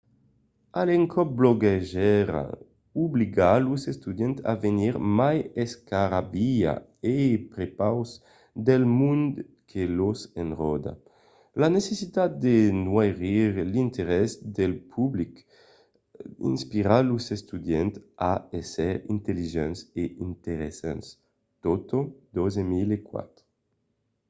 a l'encòp bloguejar obliga los estudiants a venir mai escarrabilhats a prepaus del mond que los enròda. la necessitat de noirir l'interès del public inspira los estudiants a ésser intelligents e interessants toto 2004